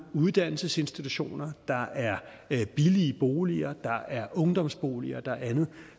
uddannelsesinstitutioner der er billige boliger der er ungdomsboliger og andet